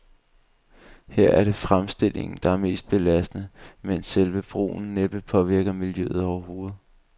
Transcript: Her er det fremstillingen, der er mest belastende, mens selve brugen næppe påvirker miljøet overhovedet.